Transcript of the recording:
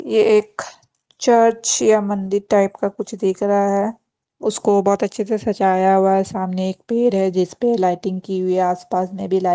ये एख चर्च या मंदिर टाइप का कुछ दिख रहा है उसको बहुत अच्छे से सजाया हुआ है सामने एक पेड़ है जिस पे लाइटिंग की हुई है आसपास मैं भी लाई --